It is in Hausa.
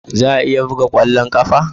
Za a iya buga kwallon kafa?